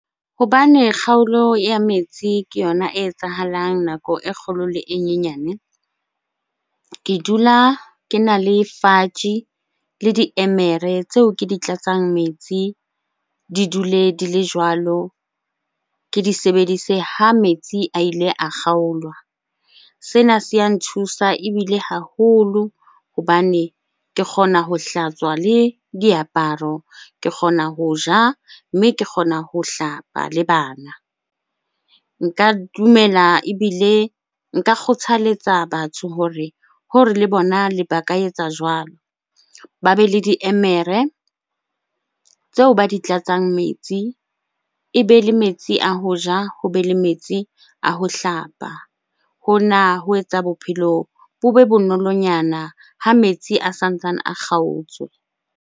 Hobane kgaolo ya metsi ke yona e etsahalang nako e kgolo le e nyenyane. Ke dula kena le le diemere tseo ke di tlatsang metsi, di dule di le jwalo. Ke di sebedise ha metsi a ile a kgaolwa. Sena se ya nthusa ebile haholo hobane ke kgona ho hlatswa le diaparo, ke kgona ho ja, mme ke kgona ho hlapa le bana. Nka dumela ebile nka kgothaletsa batho hore le bona le ba ka etsa jwalo, ba be le diemere tseo ba di tlatsang metsi. Ebe le metsi a ho ja, ho be le metsi a ho hlapa. Hona ho etsa bophelo bo be bonolonyana ha metsi a sa ntsane a kgaotswe.